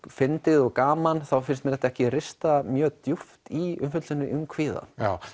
fyndið og gaman þá finnst mér þetta ekki rista mjög djúpt í umfjöllunina um kvíða